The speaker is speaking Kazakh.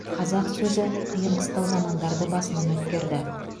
қазақ сөзі қиын қыстау замандарды басынан өткерді